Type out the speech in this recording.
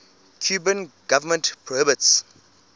cuban government prohibits